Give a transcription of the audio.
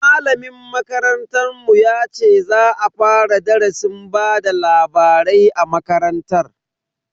Malamin makarantar mu ya ce za a fara darasin bada labarai a makarantar.